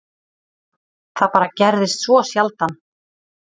Það bara gerðist svo sjaldan.